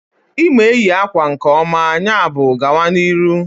Ị ma eyi akwa nke ọma, yabụ gawa n'ihu